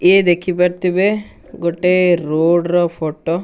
ଏ ଦେଖିପାରୁଥିିବେ ଗୋଟେ ରୋଡ ର ଫଟୋ।